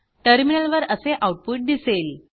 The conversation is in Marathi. टर्मिनलवर असे आऊटपुट दिसेल